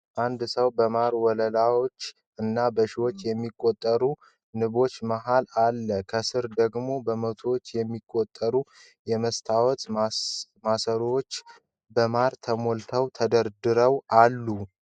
አንድ ሰው በማር ወለሎች እና በሺዎች የሚቆጠሩ ንቦች መሃል አለ። ከስር ደግሞ በመቶዎች የሚቆጠሩ የመስታወት ማሰሮዎች በማር ተሞልተው ተደርድረው አሉ።